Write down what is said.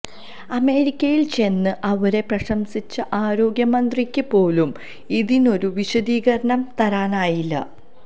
അമേരിക്കയില്ചെന്ന് അവരെ പ്രശംസിച്ച ആരോഗ്യമന്ത്രിക്ക് പോലും ഇതിനൊരു വിശദീകരണം തരാനായില്ല